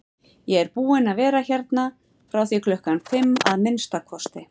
Ég er búinn að vera hérna frá því klukkan fimm, að minnsta kosti